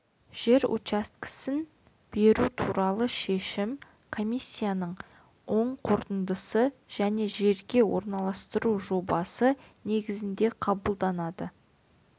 жер учаскесін беру туралы шешім комиссияның оң қорытындысы және жерге орналастыру жобасы негізінде қабылданады